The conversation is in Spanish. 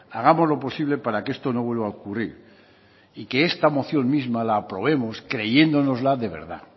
hagamos lo posible para que esto no vuelva a ocurrir y que esta moción misma la aprobemos creyéndonosla de verdad